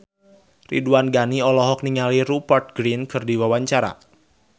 Ridwan Ghani olohok ningali Rupert Grin keur diwawancara